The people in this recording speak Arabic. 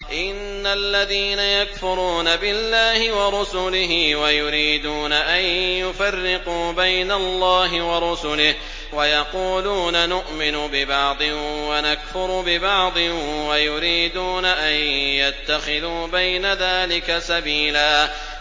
إِنَّ الَّذِينَ يَكْفُرُونَ بِاللَّهِ وَرُسُلِهِ وَيُرِيدُونَ أَن يُفَرِّقُوا بَيْنَ اللَّهِ وَرُسُلِهِ وَيَقُولُونَ نُؤْمِنُ بِبَعْضٍ وَنَكْفُرُ بِبَعْضٍ وَيُرِيدُونَ أَن يَتَّخِذُوا بَيْنَ ذَٰلِكَ سَبِيلًا